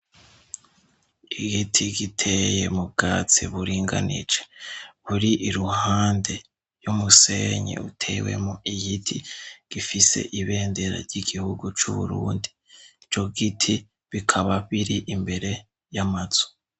Igiti giteye mu bwatsi buringanije kuri i ruhande y'umusenyi utewe mu igiti gifise ibendera ry'igihugu c'uburundi jo giti bikaba biri imbere y'amazu.